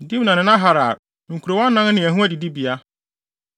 Dimna ne Nahalal—nkurow anan ne ɛho adidibea.